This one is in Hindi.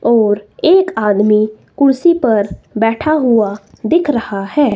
और एक आदमी कुर्सी पर बैठा हुआ दिख रहा है।